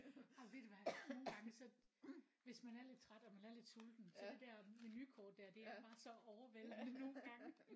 Jamen ved du hvad nogengange så hvis man er lidt træt og man er lidt sulten så det der menukort der det er bare så overvældende nogengange